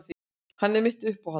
Hann er mitt uppáhald.